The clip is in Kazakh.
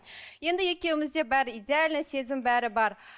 енді екеумізде бәрі идеально сезім бәрі бар